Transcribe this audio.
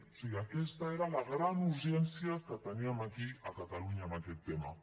o sigui aquesta era la gran urgència que teníem aquí a catalunya amb aquest tema